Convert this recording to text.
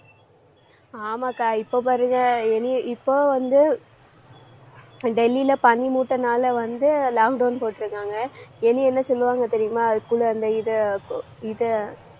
ஆமாக்கா இப்போ பாருங்க இப்போ வந்து டெல்லியிலே பனி மூட்டனாலே வந்து lockdown போட்டிருக்காங்க இனி என்ன சொல்லுவாங்க தெரியுமா? குளு~ அந்த இதை, இதை,